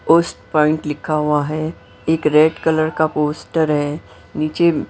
post point लिखा हुआ है एक रेड कलर का पोस्टर है नीचे--